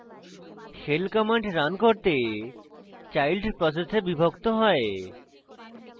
shell command run করতে child process বিভক্ত হয়